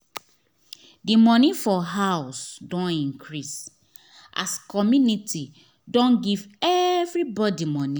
the money for house don increase as community don give everybody money